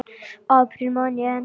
apríl man ég enn.